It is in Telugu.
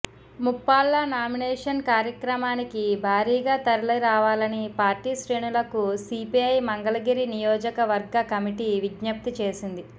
ముప్పాళ్ల నామినేషన్ కార్యక్రమానికి భారీగా తరలిరావాలని పార్టీ శ్రేణులకు సీపీఐ మంగళగిరి నియోజకవర్గ కమిటీ విజ్ఞప్తి చేసింది